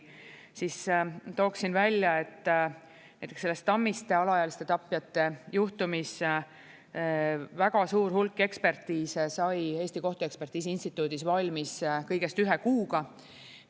Siis tooksin välja, et näiteks selles Tammiste alaealiste tapjate juhtumis väga suur hulk ekspertiise sai Eesti Kohtuekspertiisi Instituudis valmis kõigest ühe kuuga.